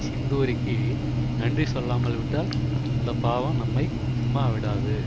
சிந்தூரிக்கு நன்றி சொல்லாமல் விட்டால் அந்த பாவம் நம்மை சும்மாவிடாது